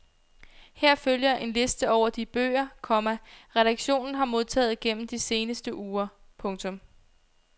Her følger en liste over de bøger, komma redaktionen har modtaget gennem de seneste uger. punktum